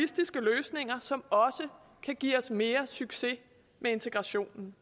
og som også kan give os mere succes med integrationen